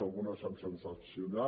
algunes s’han transaccionat